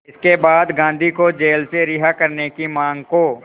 इसके बाद गांधी को जेल से रिहा करने की मांग को